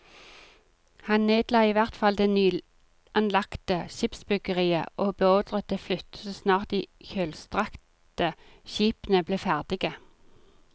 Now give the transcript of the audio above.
Han nedla i hvert fall det nyanlagte skipsbyggeriet og beordret det flyttet så snart de kjølstrakte skipene ble ferdige.